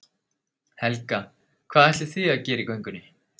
Helga: Hvað ætlið þið að gera í göngunni?